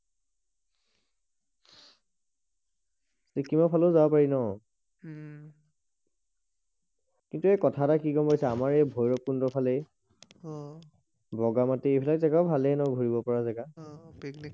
চিকিমৰ ফালে যাব পাৰিম ন উম কিন্তু এই কথা এটা কি গম পাইছা আমাৰ এই ভৈৰৱ কুণ্ড ফালে অ বগা মাটি ফালে যেগা ভালেই ন ঘূৰিব পৰা যেগা অ অ